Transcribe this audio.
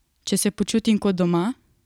Če se počitim kot doma?